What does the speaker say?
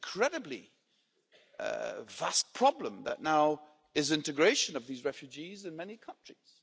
An incredibly vast problem is now the integration of these refugees in many countries.